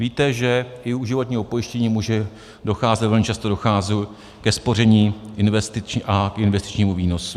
Víte, že i u životního pojištění může docházet, a velmi často dochází, ke spoření a investičnímu výnosu.